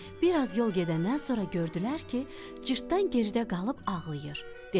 Bir az yol gedəndən sonra gördülər ki, cırtdan gəridə qalıb ağlayır.